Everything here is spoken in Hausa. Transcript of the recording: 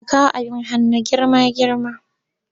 Yana kawo abin hannu girma-girma.